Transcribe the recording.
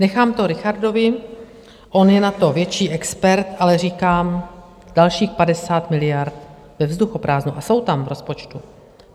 Nechám to Richardovi, on je na to větší expert, ale říkám, dalších 50 miliard ve vzduchoprázdnu a jsou tam v rozpočtu.